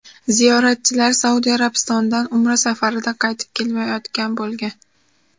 Ziyoratchilar Saudiya Arabistonidan Umra safaridan qaytib kelayotgan bo‘lgan.